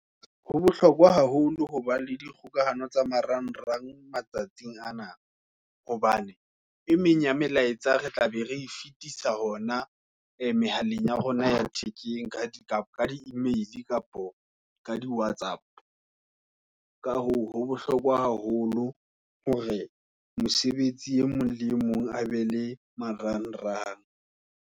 Ho bohlokwa haholo hoba le dikgokahano tsa marang rang matsatsing ana, hobane e meng ya melaetsa re tla be re e fetisa hona e mehaleng ya rona ya thekeng, ka di-e-mail, kapa ka di-Whatsapp-o. Ka hoo ho bohlokwa haholo hore mosebetsi e mong le mong a be le marang rang.